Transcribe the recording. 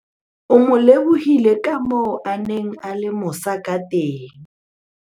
o mo lebohile ka moo a neng a le mosa ka teng